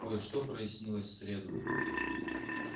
кое-что прояснилось в среду